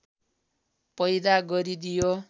पैदा गरिदियो